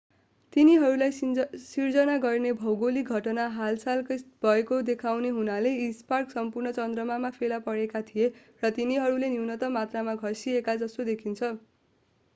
तिनीहरूलाई सिर्जना गर्ने भौगोलिक घटना हालसालै भएको देखाउने हुनाले यी स्कार्प सम्पूर्ण चन्द्रमामा फेला परेका थिए र तिनीहरू न्यूनतम मात्रामा घस्किएका जस्तो देखिन्छन्